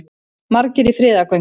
Margir í friðargöngu